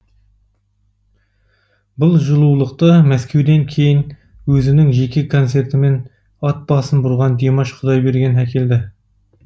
бұл жылулықты мәскеуден кейін өзінің жеке концертімен ат басын бұрған димаш құдайберген әкелді